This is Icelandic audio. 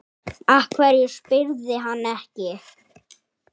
Af hverju spyrðu hann ekki?